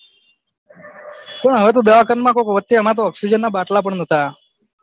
હવે તો દવા ખાના માં વચે ઓક્ષ્સિજન ના બાટલા પણ નતા